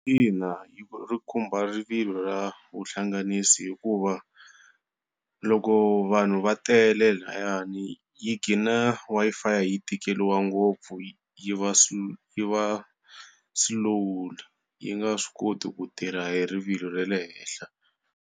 Ina, ri khumba rivilo ra vuhlanganisi hikuva loko vanhu va tele lahayani yi gina Wi-Fi yi tikeriwa ngopfu yi va slow yi va slowly yi nga swi koti ku tirha hi rivilo ra le henhla.